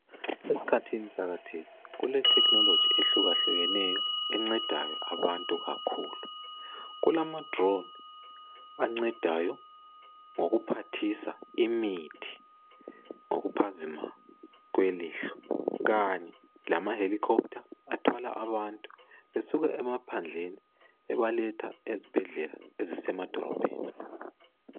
Esikhathini sakathesi kule technology ehlukahlukeneyo encedayo abantu kakhulu. Kulama-drone ancedayo ngokuphathisa imithi ngokuphazima kwelihlo, kanye lama helicopter athwala abantu esuka emaphandleni ebaletha ezibhedlela ezisemadolobheni.